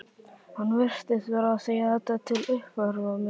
Hann virtist vera að segja þetta til að uppörva mig.